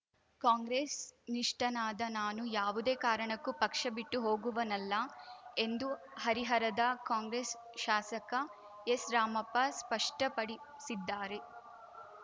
ಕಾಂಗ್ರೆಸ್‌ ನಿಷ್ಠನಾದ ನಾನು ಯಾವುದೇ ಕಾರಣಕ್ಕೂ ಪಕ್ಷ ಬಿಟ್ಟು ಹೋಗುವನಲ್ಲ ಎಂದು ಹರಿಹರದ ಕಾಂಗ್ರೆಸ್‌ ಶಾಸಕ ಎಸ್‌ರಾಮಪ್ಪ ಸ್ಪಷ್ಟಪಡಿಸಿದ್ದಾರೆ